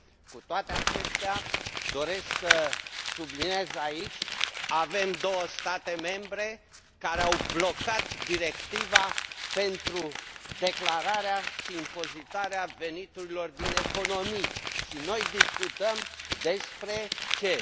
Cu toate acestea, doresc să subliniez aici că avem două state membre care au blocat Directiva pentru declararea și impozitarea veniturilor din economii. Noi discutăm despre ce?